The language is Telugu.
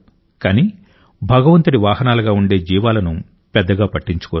కానీ భగవంతుడి వాహనాలుగా ఉండే జీవాలను పెద్దగా పట్టించుకోరు